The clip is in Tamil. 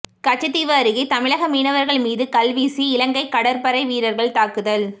கச்சத்தீவு அருகே தமிழக மீனவர்கள் மீது கல்வீசி இலங்கை கடற்படை வீரர்கள் தாக்குதல்